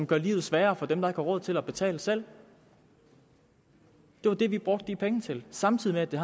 gjorde livet sværere for dem der ikke har råd til at betale selv det var det vi brugte de penge til samtidig med at det